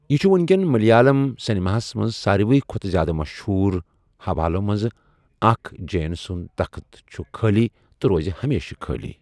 یہِ چُھ وُنکٮ۪ن مٔلِیالم سیٚنِماہس منٛز سارِوٕے کھۄتہٕ زیادٕ مٔشہوٗر حَوالو منٛزٕ اَکھ 'جَین سُنٛد تخٕت چُھ خٲلی تہٕ روزِ ہَمیشہٕ خٲلی'۔